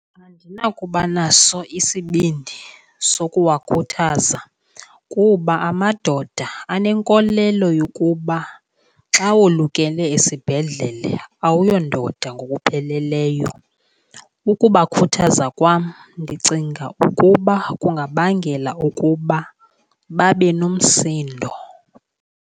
Andinakuba naso isibindi sokuwakhuthaza kuba amadoda anenkolelo yokuba xa wolukele esibhedlele awuyondoda ngokupheleleyo. Ukubakhuthaza kwam ndicinga ukuba kungabangela ukuba babe nomsindo.